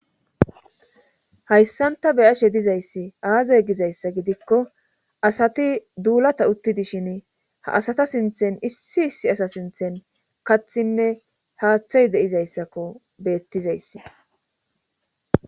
hayssanta beyashe dizayssi aazay gizayssa gidikko asati duulata utti dishin ha asata sinthen issi issi asa sinthen kathinne haaththay deizayssakko beettizayssi